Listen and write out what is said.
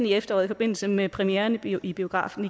i efteråret i forbindelse med premieren i biografen